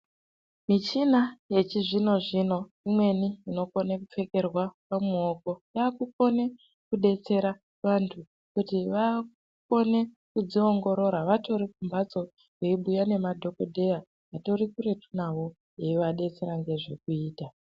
Michina yechizvino zvino imweni unokone kupfekerwa pamuoko yaakukone kudetsera vantu kuti vakone kudziongorora vatori kumhatso veibhuya nemadhokodheya vatori kuretu nawo veivadetsera ngezvekuita.